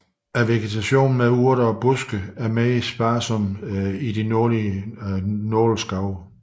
Også vegetationen af urter og buske er mere sparsom i de nordlige nåleskove